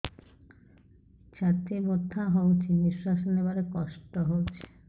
ଛାତି ବଥା ହଉଚି ନିଶ୍ୱାସ ନେବାରେ କଷ୍ଟ ହଉଚି